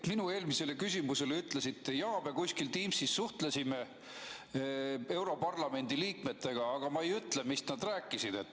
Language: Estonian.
Minu eelmisele küsimusele vastates ütlesite, et jaa, me kuskil Teamsis suhtlesime europarlamendi liikmetega, aga ma ei ütle, mis nad rääkisid.